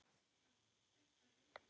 Aðeins örfá mál nefnd.